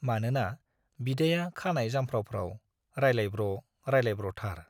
मानोना बिदाया खानाय जामफ्राव फ्राव रायलायब्र' रायलायब्रथार।